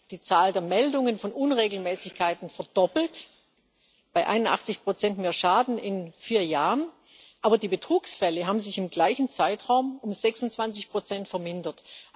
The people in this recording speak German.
Die Zahl der Meldungen von Unregelmäßigkeiten verdoppelt bei 81 mehr Schaden in vier Jahren aber die Betrugsfälle haben sich im gleichen Zeitraum um 26 vermindert.